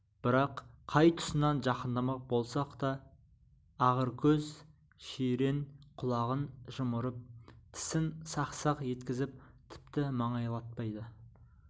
бірақ қай тұсынан жақындамақ болсақ та іііағыркөз жирен құлағын жымырып тісін сақ-сақ еткізіп тіпті маңайлатпады